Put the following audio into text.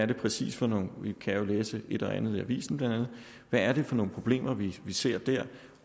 det præcis for noget man kan jo læse et og andet i avisen hvad er det for nogle problemer vi ser der